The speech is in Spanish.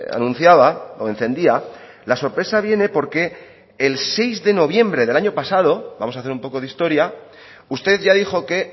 anunciaba o encendía la sorpresa viene porque el seis de noviembre del año pasado vamos a hacer un poco de historia usted ya dijo que